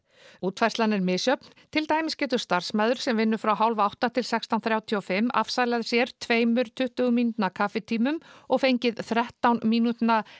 útfærslan er misjöfn til dæmis getur starfsmaður sem vinnur frá hálf átta til sextán þrjátíu og fimm afsalað sér tveimur tuttugu mínútna kaffitímum og fengið þrettán mínútna